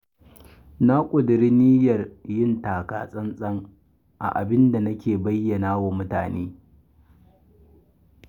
Na ƙudiri aniyar yin taka-tsantsan a abin da nake bayyanawa wa mutane.